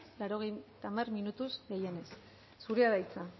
laurogeita hamar minutuz gehienez zurea da hitza